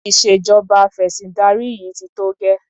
Ìṣèjọba afẹ̀sìndarí yìí ti tó gẹ́.